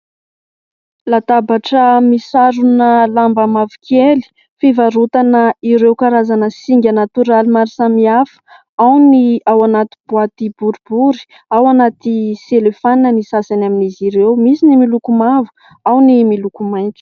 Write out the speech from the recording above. Latabatra misarona lamba mavokely fivarotana ireo karazana singa natoraly maro samihafa. Ao ny ao anaty "boite" boribory, ao anaty "cellophane" ny sasany amin'izy ireo. Misy ny miloko mavo, ao ny miloko mainty.